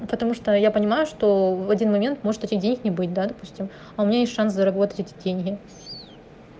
потому что я понимаю что в один момент может этих денег не быть допустим а у меня есть шанс заработать деньги